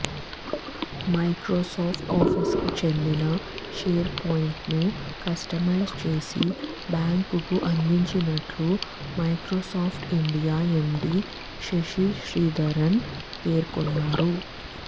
Microsoft ఆఫీసుకు చెందిన షేర్పాయింట్ను కస్టమైజ్ చేసి బ్యాంకుకు అందించినట్లు Microsoft India MD Shashi Sridharan పేర్కొన్నారు